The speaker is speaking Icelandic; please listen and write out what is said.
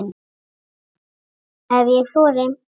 Ef ég þori.